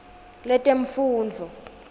letemfundvo